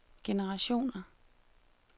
generationer